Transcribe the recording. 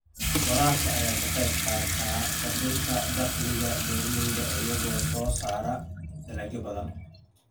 Waraabka ayaa ka qayb qaata kordhinta dakhliga beeralayda iyagoo soo saaraya dalagyo badan.